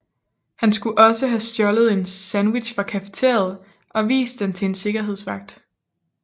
Han skulle også have stjålet en sandwich fra cafeteriet og vist den til en sikkerhedsvagt